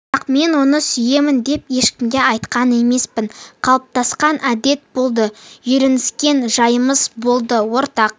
бірақ мен оны сүйемін деп ешкімге айтқан емеспін қалыптасқан әдет болды үйреніскен жайымыз болды ортақ